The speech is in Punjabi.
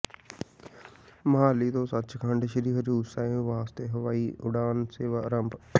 ਮੁਹਾਲੀ ਤੋਂ ਸੱਚਖੰਡ ਸ਼੍ਰੀ ਹਜ਼ੂਰ ਸਾਹਿਬ ਵਾਸਤੇ ਹਵਾਈ ਉਡਾਣ ਸੇਵਾ ਆਰੰਭ